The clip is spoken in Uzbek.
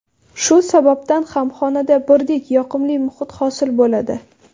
Shu sababdan ham xonada birdek yoqimli muhit hosil bo‘ladi.